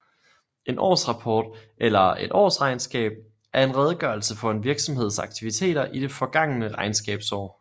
En årsrapport eller et årsregnskab er en redegørelse for en virksomheds aktiviteter i det forgangne regnskabsår